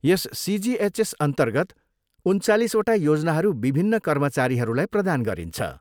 यस सिजिएचएसअन्तर्गत उन्चालिसवटा योजनाहरू विभिन्न कर्मचारीहरूलाई प्रदान गरिन्छ।